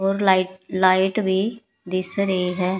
ਔਰ light light ਵੀ ਦਿਸ ਰਹੀ ਹੈ।